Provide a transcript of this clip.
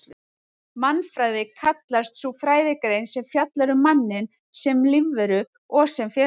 Mannfræði kallast sú fræðigrein sem fjallar um manninn sem lífveru og sem félagsveru.